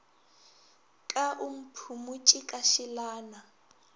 ka o mphumotše ka šelana